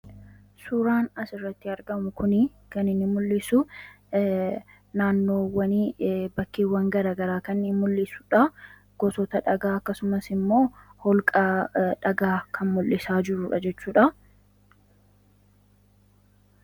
suuraan as irratti argamu kunii kanin mul'isu naannowwani bakkeewwan garagaraa kani mul'isudha gosoota dhagaa akkasumas immoo holqaa dhagaa kan mul'isaa jirudha jechuudha